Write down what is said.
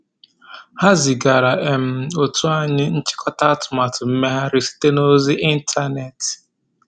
Ha zigara um otu anyị nchịkọta atụmatụ mmeghari site na ozi ịntanetị.